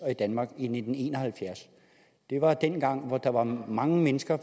af danmark i nitten en og halvfjerds det var dengang hvor der var mange mennesker